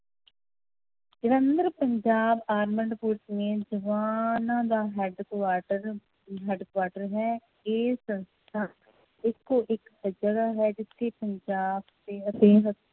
Jalandhar Punjab armed police ਨੇ ਜਵਾਨਾਂ ਦਾ headquarter headquarter ਹੈ, ਇਹ ਸੰਸਥਾ ਇੱਕੋ ਇੱਕ ਹੈ ਜਿੱਥੇ ਪੰਜਾਬ